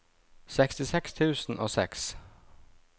sekstiseks tusen og seks